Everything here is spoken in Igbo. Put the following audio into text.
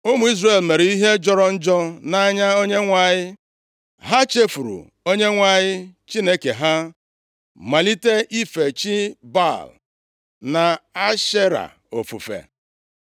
Ụmụ Izrel mere ihe jọrọ njọ nʼanya Onyenwe anyị. Ha chefuru Onyenwe anyị Chineke ha, malite ife chi Baal, na Ashera ofufe.